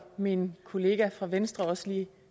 min kollega fra venstre også lige